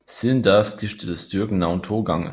Siden da skiftede styrken navn to gange